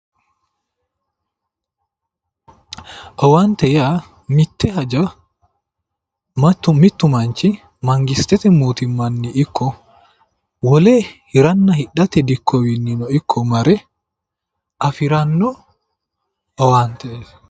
Owaante yaa mitte haja mittu manchi mangistete mootimmanni ikko wole hiranna hidhatewiinni dikkowiinni ikko mare afiranno owaanteeti